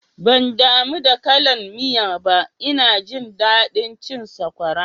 Ban damu da kallan miya ba, ina jin daɗin cin sakwara